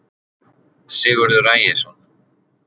sigurður ægisson